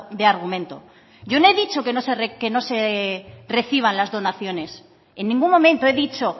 de argumento yo no he dicho que no se reciban las donaciones en ningún momento he dicho